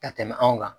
Ka tɛmɛ anw kan